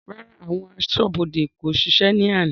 Rárá, àwọn aṣọ́bodè ó ṣiṣẹ́ ni àná.